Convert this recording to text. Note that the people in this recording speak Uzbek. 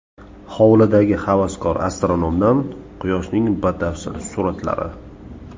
Hovlidagi havaskor astronomdan Quyoshning batafsil suratlari.